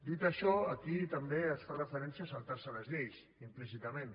dit això aquí també es fa referència a saltar se les lleis implícitament